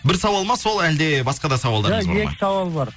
бір сауал ма сол әлде басқа да сауалдарыңыз бар ма ия екі сауал бар